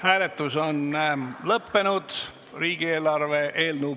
Hääletustulemused Hääletus on lõppenud.